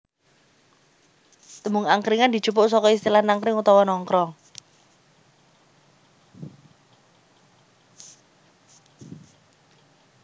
Tembung angkringan dijupuk saka istilah nangkring utawa nongkrong